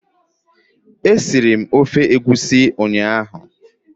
E siri m ofe egwusi nnyaa.